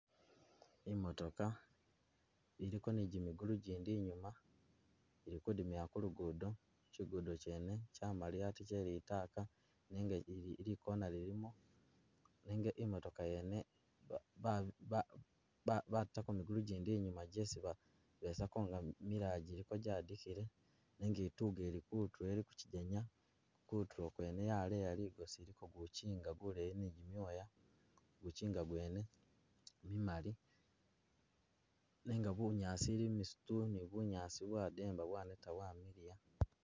Imotoka, iliko nijimigulu gindi inyuma, ili kudimila ku lugudo kyigudo kyene kyamaliya ate kye litaka, nenga li- li corner lilimo nenga imotoka yene ba- ba- batako migulu gindi inyuma jesi ba- besako nga milala jiliko jyadikile, nenga ituka ili kutulo ili kukyigenya kutulo kwene yaleya ligosi iliko gukyinga guleyi nijimyoya, gukyinga gwene gumali, nenga bunyaasi, limisitu, ni bunyaasi bwademba bwaneya bwamiliya.